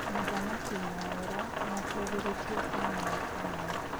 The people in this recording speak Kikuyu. Mũthamaki Mwaura niatũgĩrĩtie Samuel Kamau.